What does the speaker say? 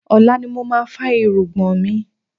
Ọ̀la ni mo máa fá irùngbọ̀n mi.